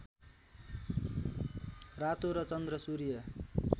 रातो र चन्द्र सूर्य